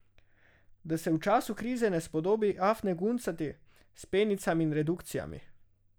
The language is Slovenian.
Da se v času krize ne spodobi afne guncati s penicami in redukcijami.